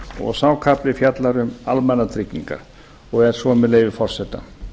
og sá kafli fjallar um almannatryggingar og er svo með leyfi forseta